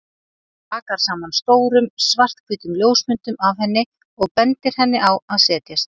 Rakar saman stórum, svarthvítum ljósmyndum af henni og bendir henni á að setjast.